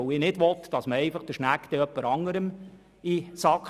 Ich will nicht, dass man einfach «dr Schnägg öpper anderem i Sack stoost».